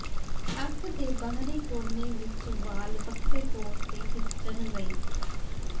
ਅੱਖ ਦੇ ਬਾਹਰੀ ਕੋਨੇ ਵਿਚ ਵਾਲ ਵੱਖਰੇ ਤੌਰ ਤੇ ਖਿੱਚਣ ਲਈ